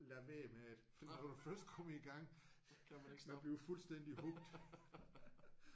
Lad være med det! Når du først kommer i gang man bliver fuldstændigt hooked